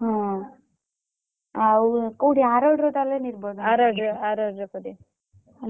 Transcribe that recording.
ହଁ ଆଉ କୋଉଠି ଆରୋଡିରେ ତାହେଲେ ନିର୍ବନ୍ଧ।